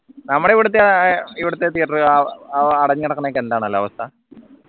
നമ്മുടെ ഇവിടത്തെ അഹ് ഇവിടുത്തെ theatre അഹ് അഹ് അടഞ്ഞുകിടക്കുന്ന